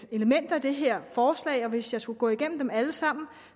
elementer i det her forslag og hvis jeg skulle gå igennem alle sammen